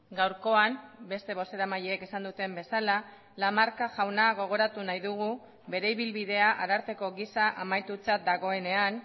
gaurkoan beste bozeramaileek esan duten bezala lamarca jauna gogoratu nahi dugu bere ibilbidea ararteko gisa amaitutzat dagoenean